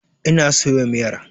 Ina soya miyar.